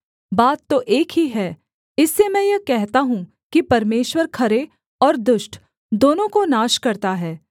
बात तो एक ही है इससे मैं यह कहता हूँ कि परमेश्वर खरे और दुष्ट दोनों को नाश करता है